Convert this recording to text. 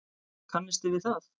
Kannisti við það!